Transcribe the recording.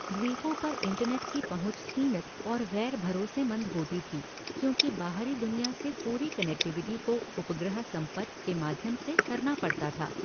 द्वीपों पर इंटरनेट की पहुंच सीमित और ग़ैर भरोसेमंद होती थी, क्योंकि बाहरी दुनिया से पूरी कनेक्टिविटी को उपग्रह संपर्क के माध्यम से करना पड़ता था।